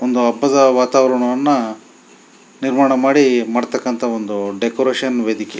ಒಂದು ಹಬ್ಬದ ವಾತಾವರಣವನ್ನು ನಿರ್ಮಾಣ ಮಾಮಾಡತಕ್ಕಂಥ ಒಂದು ಡೆಕೋರೇಷನ್ ವೇದಿಕೆ.